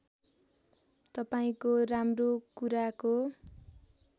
तपाईँको राम्रो कुराको